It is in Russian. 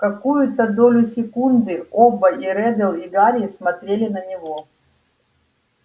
какую-то долю секунды оба и реддл и гарри смотрели на него